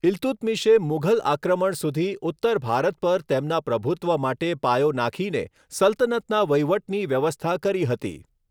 ઈલ્તુત્મિશએ મુઘલ આક્રમણ સુધી ઉત્તર ભારત પર તેના પ્રભુત્વ માટે પાયો નાંખીને સલ્તનતના વહીવટની વ્યવસ્થા કરી હતી.